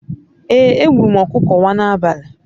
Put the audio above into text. Ee, egburu m okuko wa n'abali